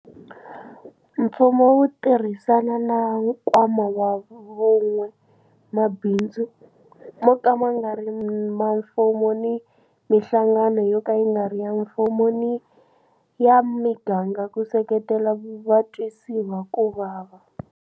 Mfumo wu tirhisana na Nkwama wa Vun'we, mabindzu mo ka ma nga ri ma mfumo ni mihlangano yo ka yi nga ri ya mfumo ni ya miganga ku seketela vatwisiwa ku vava.